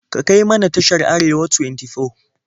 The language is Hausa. Ka kai mana tashar Arewa 24.